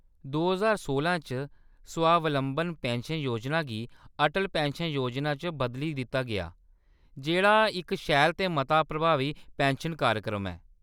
दो ज्हार सोलां च, स्वावलंबन पिन्शन योजना गी अटल पिन्शन योजना च बदली दित्ता गेआ, जेह्‌‌ड़ा इक शैल ते मता प्रभावी पिन्शन कार्यक्रम ऐ।